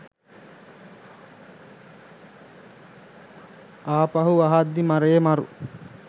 ආපහු අහද්දි මරේ මරු